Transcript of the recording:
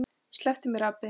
SLEPPTU MÉR, APINN ÞINN!